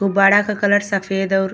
गुब्बाड़ा के कलर सफ़ेद और --